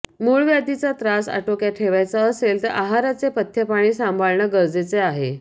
मूळव्याधीचा त्रास आटोक्यात ठेवायचा असेल तर आहाराचे पथ्यपाणी सांभाळणं गरजेचे आहे